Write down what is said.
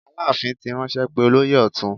Aláàfin ti ránṣẹ́ pé olóyè ọ̀tún.